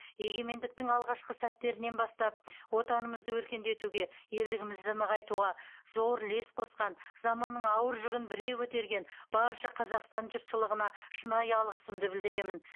егемендіктің алғашқы сәттерінен бастап отанымызды өркендетуге елдігімізді нығайтуға зор үлес қосқан заманның ауыр жүгін бірге көтерген барша қазақстан жұртшылығына шынайы алғысымды білдіремін